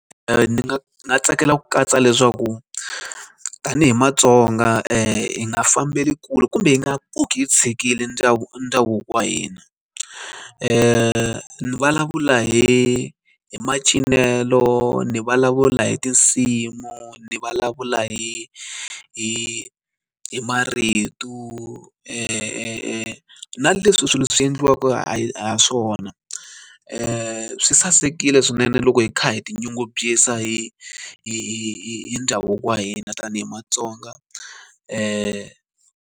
ni nga tsakela ku katsa leswaku tanihi matsonga ] hi nga fambela kule kumbe yi nga pfuki hi tshikile ndhawu ndhavuko wa hina ni vulavula hi hi macincelo ni vulavula hi tinsimu ni vulavula hi hi hi marito na leswi swilo swi endliwa e swona swi sasekile swinene loko hi kha hi tinyungubyisa hi hi ndhavuko wa hina tanihi matsonga.